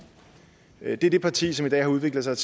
det er det parti som i dag har udviklet sig